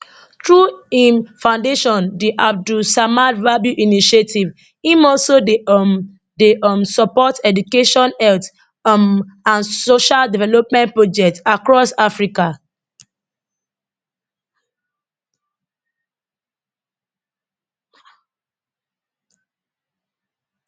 through im foundation di abdul samad rabiu initiative im also dey um dey um support education health um and social development projects across africa